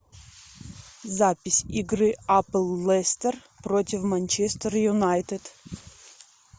запись игры апл лестер против манчестер юнайтед